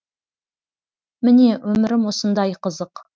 міне өмірім осындай қызық